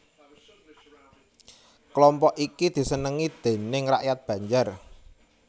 Kelompok iki disenengi déning rakyat Banjar